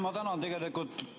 Ma tänan!